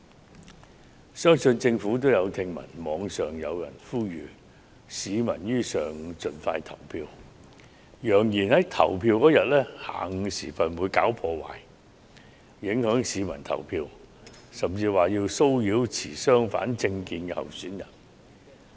我相信政府亦已聽聞，網上有人呼籲選民於投票當日上午盡快投票，並揚言會在當天的下午時分"搞破壞"，阻礙市民投票，甚至騷擾持相反政見的候選人。